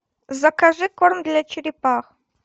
закажи корм для черепах